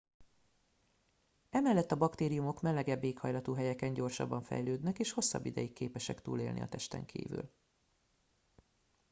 emellett a baktériumok melegebb éghajlatú helyeken gyorsabban fejlődnek és hosszabb ideig képesek túlélni a testen kívül